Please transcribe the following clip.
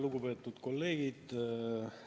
Lugupeetud kolleegid!